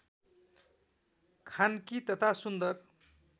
खान्की तथा सुन्दर